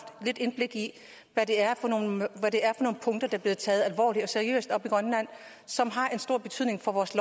lidt indblik i hvad det er for nogle punkter der bliver taget og som har en stor betydning for vores